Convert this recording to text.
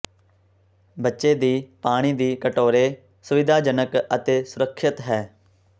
ਬੱਚੇ ਦੀ ਪਾਣੀ ਦੀ ਕਟੋਰੇ ਸੁਵਿਧਾਜਨਕ ਅਤੇ ਸੁਰੱਖਿਅਤ ਹੈ